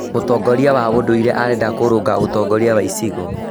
mũtongoria wa ũndũire arenda kũrũnga ũtongoria wa gĩcigo.